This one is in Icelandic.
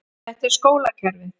Þetta er skólakerfið.